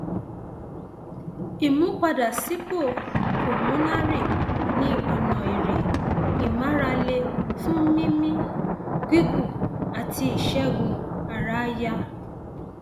ìmúpadàbọsípò pulmonary ní ọnà eré ìmárale fún mímí gígùn àti ìṣègùn ara àyà